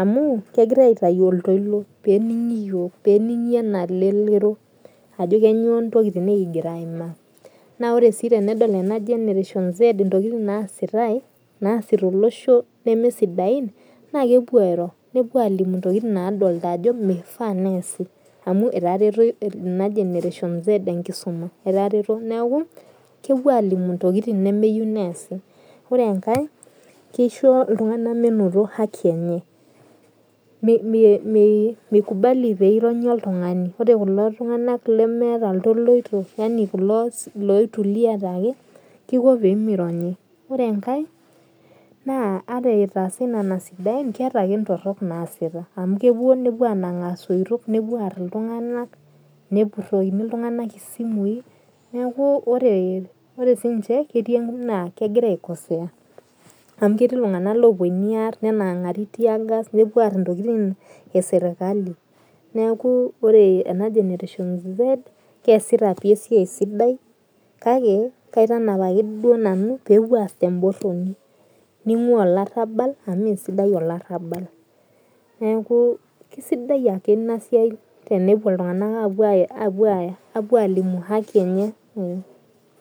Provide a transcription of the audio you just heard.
amu kegira aitau oltoilo peningi yiok peningi enaleleri ajo kanyio ntokitin nikingira aimaa na ore si tenedol nemesidain nepuo airo nepuo adol amu etareto ena generation z enkisuma neaku kepuo alimu ntokitin nemeyieu neasi nore enkae kisho ltunganak meinoto haki enye mikubali mironnyi oltungani ore kulo tunganak lemeeta ltoloito kiko pemironyi ore enkae na ore itaasa nona sidain na keeta ake ntorok naasita kepuo anang ltunganak tosoitok nepurokini ltunganak isimui neakubkegira aikosea Ketii ltunganak oponu aar nepuo aar eserkali neaku keasita esiai sidai kake pepuo aar temboroni ningua olarabal amu mesidai olarabal neau kesidai ake inasia tenepuo ltunganak apuo alimu haki enye